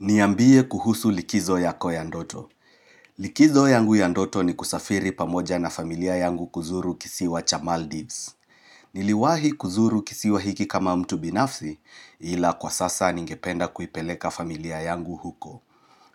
Niambie kuhusu likizo yako ya ndoto. Likizo yangu ya ndoto ni kusafiri pamoja na familia yangu kuzuru kisiwa cha Maldives. Niliwahi kuzuru kisiwa hiki kama mtu binafzi ila kwa sasa ningependa kuipeleka familia yangu huko.